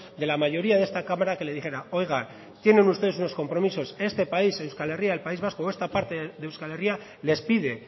de la mayoría de esta cámara que le dijera oiga tienen ustedes unos compromisos este país euskal herria el país vasco o esta parte de euskal herria les pide